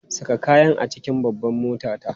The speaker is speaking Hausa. Saka kayan a cikin babbar motata!